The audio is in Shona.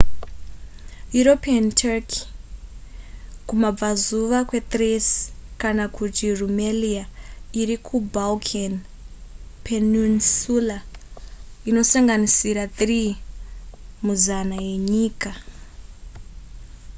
european turkey kumabvazuva kwethrace kana kuti rumelia iri kubalkan peninsula inosanganisira 3 muzana yenyika